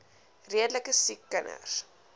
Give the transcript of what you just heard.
redelike siek kinders